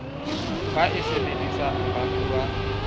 ba e sebedisang ba fuwa